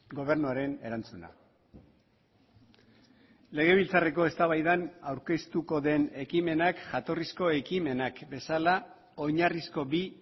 gobernuaren erantzuna legebiltzarreko eztabaidan aurkeztuko den ekimenak jatorrizko ekimenak bezala oinarrizko bi